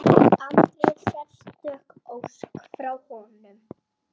Andri: Sérstök ósk frá honum?